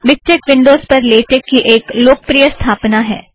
MiKTeX Windows पर LaTeX की एक लोकप्रिय स्थापना है